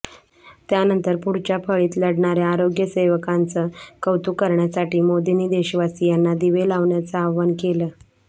त्यानंतर पुढच्या फळीत लढणाऱ्या आरोग्य सेवकांचं कौतुक करण्यासाठी मोदींनी देशवासीयांना दिवे लावण्याचं आवाहन केलं